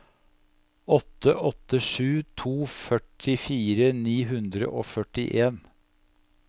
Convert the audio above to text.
åtte åtte sju to førtifire ni hundre og førtien